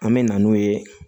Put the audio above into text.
An me na n'o ye